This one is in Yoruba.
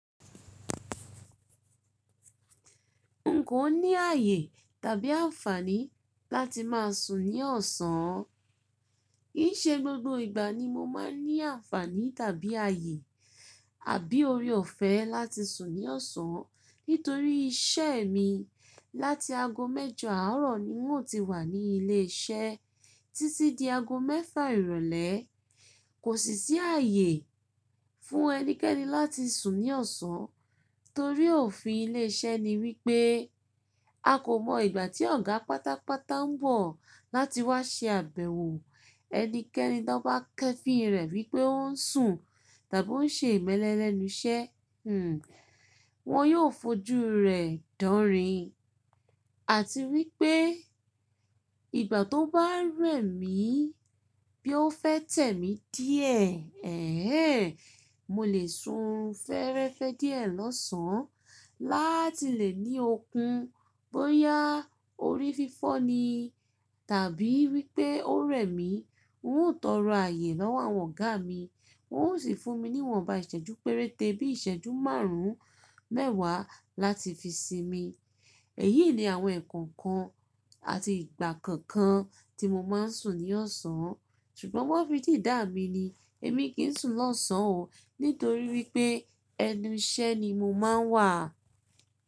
N kòo ní ààyè tàbí àǹfààní láti máa sùn ní ọ̀sán. Kìí ṣe gbogbo ìgbà ni mo máa ń ní àǹfààní tàbí ààyè, àbí ori ọ̀fẹ́ láti sùn ní ọ̀sán nítorí iṣeẹ́ mi. Láti ago mẹ́jọ àárọ̀ ni n ò ti wà ní ilé iṣẹ́ títí di ago mẹ́fà ìrọ̀lẹ́. Kò sì sí ààyè fún ẹnikẹ́ni láti sùn ní ọ̀sán torí òfin ilé iṣẹ́ ni wípé a kò mọ ìgbà tí ọ̀gá pátápátá ń bọ̀ láti wá ṣe àbẹ̀wò. Ẹnikẹ́ni tó bá kẹ́fìi rẹ̀ wípé ó ń sùn tàbí ó ń ṣe ìmẹ́lẹ́ lẹ́nu iṣẹ́, hmm wọ́n yóò fojú rẹ̀ danrin. Àti wípé ìgbà tó bá rẹ̀ míi bí ó fẹ́ tẹ̀ mí díẹ̀ ẹ́hn ehn, mo lè sùn fẹ́ẹ́rẹ́fẹ́ díẹ̀ lọ́sàn láti lè ní okun bóyaá orí fífọ́ nii tàbí wípé ó rẹ̀ mí. N tọrọ ààyè lọ́wọ́ àwọn ọ̀gáa mi, wọn ó sì fún mi ní ìwọ̀nba ìṣẹ́jú péréte bí ìṣẹ́jú márùn-ún mẹ́wàá láti fi sinmi. Èyií ni àwọn eǹkankan àti ìgbà kọ̀ọ̀kan tí mo máa ń sùn ní ọ̀sán. Ṣùgbọ́n wọ́n fi dìdáa mi ni. Èmi kìí sùn lọ́sàn oo nítorí wípé ẹnu iṣẹ́ ni mo máa ń wà.